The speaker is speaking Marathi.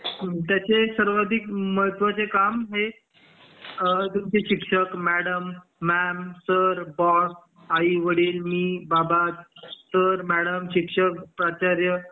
याचे सर्वाधिक महत्वाचे काम हे शिक्षक, मॅडम, मॅम, सर, बॉस, आई, वडील, मी, बाबा, सर, मॅडम, शिक्षक, प्राचार्य,